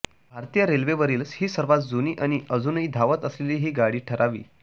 भारतीय रेल्वेवरील ही सर्वांत जुनी आणि अजूनही धावत असलेली ही गाडी ठरावी